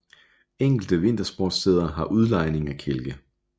Enkelte vintersportssteder har udlejning af kælke